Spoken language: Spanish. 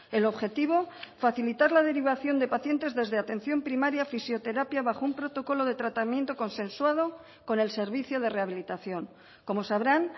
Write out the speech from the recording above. el objetivo facilitar la derivación de pacientes desde atención primaria a fisioterapia bajo un protocolo de tratamiento consensuado con el servicio de rehabilitación como sabrán